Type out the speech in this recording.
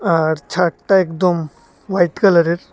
আর ছাদতা একদম হোয়াইট কালারের।